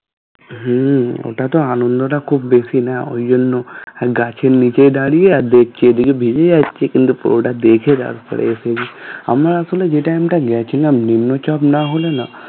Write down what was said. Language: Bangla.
হম ওটা তো আনন্দটা খুব বেশি না ওই জন্য গাছের নিচে দাঁড়িয়ে আর দেখছি এদিকে ভিজে যাচ্ছি যাচ্ছে কিন্তু পুরোটা দেখে তারপরে এসে আমরা আসলে যে time টা গেছিলাম নিম্নচাপ না হলে না